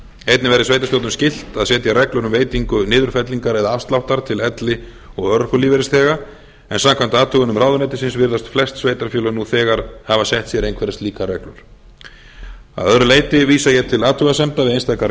einnig verði sveitarstjórnum skylt að setja reglur um veitingu niðurfellingar eða aflsáttar til elli og örorkulífeyrisþega en samkvæmt athugunum ráðuneytisins virðast flest sveitarfélög nú þegar hafa sett sér einhverjar slíkar reglur að öðru leyti vísa ég til athugasemda við einstakar